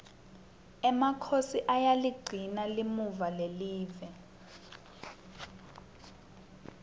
emakhosi ayaligcina limuva lelive